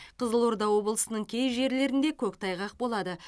қызылорда облысының кей жерлерінде көктайғақ болады